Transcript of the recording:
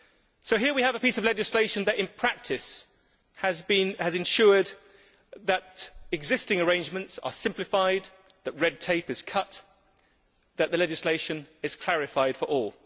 So, here we have a piece of legislation that in practice has ensured that existing arrangements are simplified, that red tape is cut, that the legislation is clarified for all.